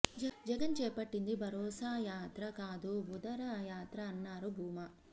జగన్ చేపట్టింది భరోసా యాత్ర కాదు బుదర యాత్ర అన్నారు భూమా